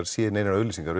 séð neinar auglýsingar